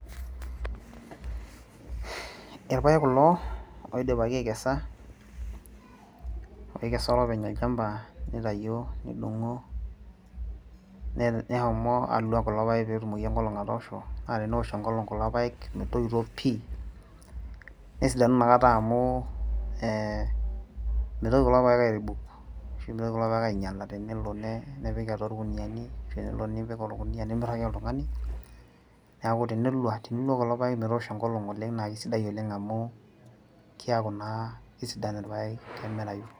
irpaek kulo oidipaki aikesa, oikesa olopeny olchampa nitayio, nidong'o neshomo alo kulo paek pee etumoki enkolong atoosho. naa teneosh enkolong kulo paek, metoito pii nesidanu inakata amu ee mitoki kulo paek aerebuk ashu mitoki kulo paek aing'iala, tenelo nepiki atua irkuniyiani, ashu elo nepiki atua orkuniyia nimiraki oltungani. neeku tinilo kulo paek metoosho enkolong naa kisidai oleng amu keeku naa kemirayu.